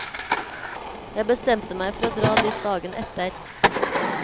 Jeg bestemte meg for å dra dit dagen etter.